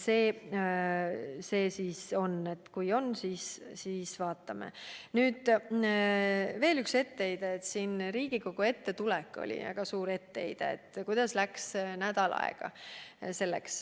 Üks suur etteheide puudutas Riigikogu ette tulekut – et kuidas selleks läks nädal aega.